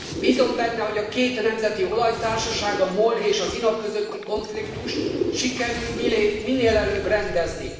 Bízom benne, hogy a két nemzeti olajtársaság, a MOL és az INA közötti konfliktust sikerül minél előbb rendezni.